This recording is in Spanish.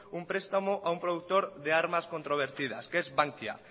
un prestamo a un productor de armas controvertidas que es bankia